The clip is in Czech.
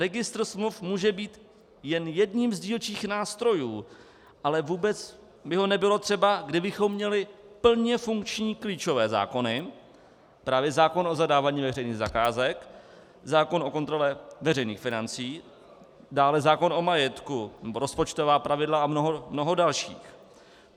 Registr smluv může být jen jedním z dílčích nástrojů, ale vůbec by ho nebylo třeba, kdybychom měli plně funkční klíčové zákony, právě zákon o zadávání veřejných zakázek, zákon o kontrole veřejných financí, dále zákon o majetku, rozpočtová pravidla a mnoho dalších.